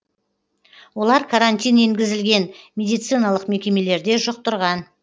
олар карантин енгізілген медициналық мекемелерде жұқтырған